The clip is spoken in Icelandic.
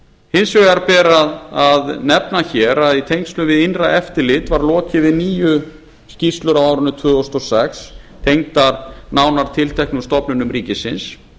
hins vegar ber að nefna hér að í tengslum við innra eftirlit var lokið við níu skýrslur á árinu tvö þúsund og sex tengdar nánar tilteknum stofnunum ríkisins